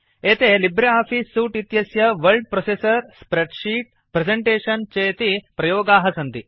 एते Libre Office suite इत्यस्य word processor spreadsheet presentation चेति प्रयोगाः सन्ति